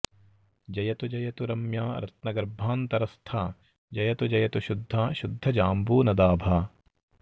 जयतु जयतु रम्या रत्नगर्भान्तरस्था जयतु जयतु शुद्धा शुद्धजाम्बूनदाभा